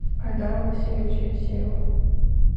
айдару васильевичу евсееву